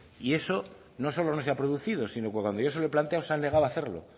y eso no solo no se ha producido sino que cuando yo se lo he planteado se han negado a hacerlo